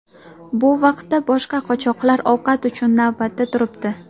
Bu vaqtda boshqa qochoqlar ovqat uchun navbatda turibdi.